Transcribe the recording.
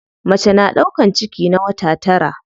Mace na ɗaukan ciki na wata tara.